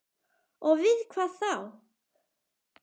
Og við hvað þá?